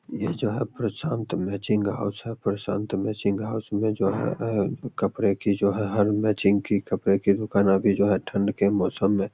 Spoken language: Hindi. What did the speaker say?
ये जो है प्रशांत मैचिंग हाउस है। प्रशांत मैचिंग हाउस मे जो है अ कपड़े की जो है हर मैचिंग की कपड़े की दुकान अभी जो है ठंड के मौसम में --